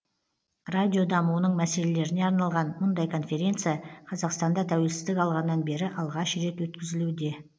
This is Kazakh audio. радио дамуының мәселелеріне арналған мұндай конференция қазақстанда тәуелсіздік алғаннан бері алғаш рет өткізілуде